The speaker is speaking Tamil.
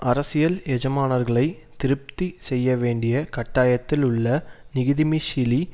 அரசியல் எஜமானர்களை திருப்தி செய்யவேண்டிய கட்டாயத்தில் உள்ள ஙிகிதிமிஷிலி